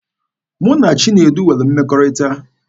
Mụ na Chinedu nwere mmekọrịta.